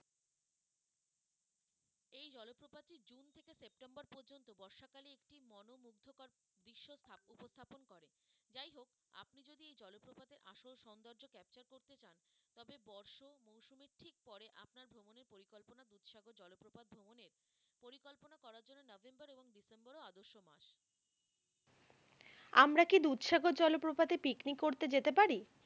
আমরা কি দুধসাগর জলপ্রপাতে পিকনিক করতে যেতে পারি?